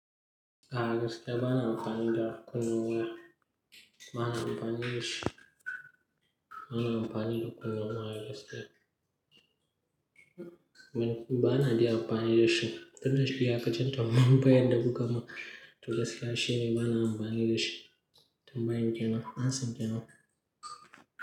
A, gaskiya bana amfani da kunnawa. Bana amfani da shi. Bana amfani da kunnawa a gaskiya. Ban, bana ji amfani da shi. Tunda shiga cikin tambayan bayar da kuka min, tunda sai shine bana amfani da shi. Tambayin kenan, amsan kenan.